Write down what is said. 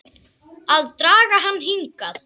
Að draga hann hingað.